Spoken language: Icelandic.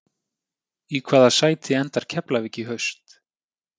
Í hvaða sæti endar Keflavík í haust?